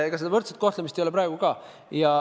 Seda võrdset kohtlemist ei ole praegugi.